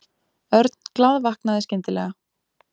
Örn glaðvaknaði skyndilega.